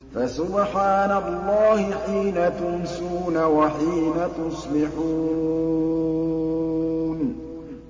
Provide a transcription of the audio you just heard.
فَسُبْحَانَ اللَّهِ حِينَ تُمْسُونَ وَحِينَ تُصْبِحُونَ